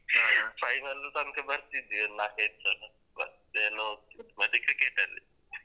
ಹ ಹ final ತನಕ ಬರ್ತಿದ್ವಿ ಒಂದ್ ನಾಲ್ಕೈದು ಸಲ ಮತ್ತೇನು ಮತ್ತೆ cricket ಅಲ್ಲಿ.